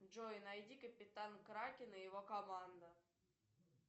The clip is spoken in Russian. джой найди капитан кракен и его команда